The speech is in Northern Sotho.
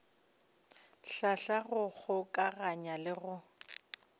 hlahla go kgokaganya le go